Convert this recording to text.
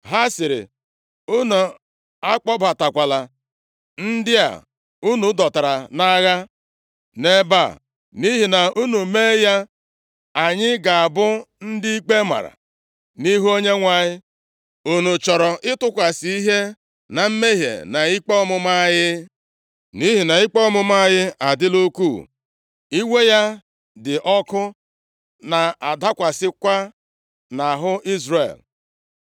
Ha sịrị, “Unu akpọbatakwala ndị a unu dọtara nʼagha nʼebe a, nʼihi na unu mee ya, anyị ga-abụ ndị ikpe maara nʼihu Onyenwe anyị. Unu chọrọ ịtụkwasị ihe na mmehie na ikpe ọmụma anyị? Nʼihi na ikpe ọmụma anyị adịla ukwuu, iwe ya dị ọkụ na-adịkwasịkwa nʼahụ Izrel.”